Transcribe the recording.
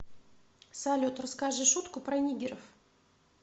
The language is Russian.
салют расскажи шутку про нигеров